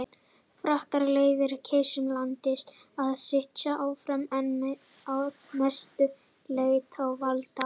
Frakkar leyfðu keisara landsins að sitja áfram en að mestu leyti án valda.